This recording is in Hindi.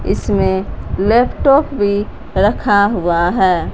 इसमें लैपटॉप भी रखा हुआ है।